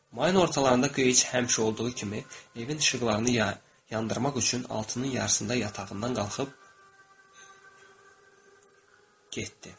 Mayın ortalarında Geyç həmişə olduğu kimi evin işıqlarını yandırmaq üçün altının yarısında yatağından qalxıb getdi.